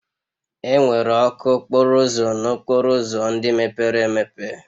Enwere ọkụ okporo ụzọ n'okporo ụzọ ndị mepere emepe